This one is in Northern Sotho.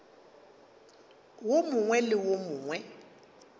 wo mongwe le wo mongwe